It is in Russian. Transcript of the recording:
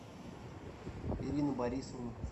ирина борисовна